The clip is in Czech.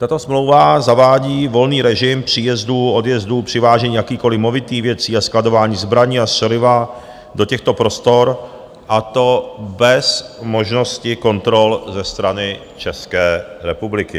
Tato smlouva zavádí volný režim příjezdů, odjezdů, přivážení jakýchkoliv movitých věcí a skladování zbraní a střeliva do těchto prostor, a to bez možnosti kontrol ze strany České republiky.